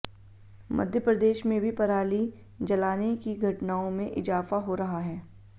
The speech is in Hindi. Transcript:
मध्य प्रदेश में भी पराली जलाने की घटनाओं में इजाफा हो रहा है